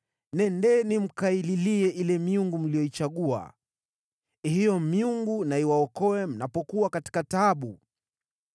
Nendeni mkaililie ile miungu mlioichagua. Hiyo miungu na iwaokoe mnapokuwa katika taabu!”